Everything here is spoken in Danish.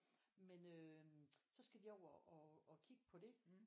Men øhm så skal de over og og kigge på det